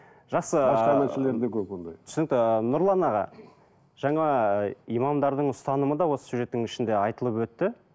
жақсы басқа мәселелер де көп ондай түсінікті нұрлан аға жаңа имамдардың ұстанымы да осы сюжеттің ішінде айтылып өтті